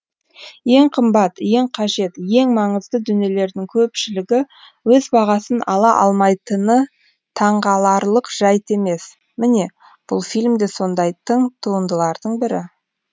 ең қымбат ең қажет ең маңызды дүниелердің көпшілігі өз бағасын ала алмайтыны таңғаларлық жайт емес міне бұл фильм де сондай тың туындылардың бірі